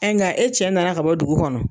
nga e cɛ na na ka bɔ dugu kɔnɔ.